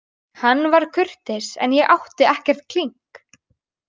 Hann var kurteis en ég átti ekkert klink.